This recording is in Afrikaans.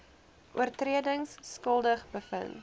oortredings skuldig bevind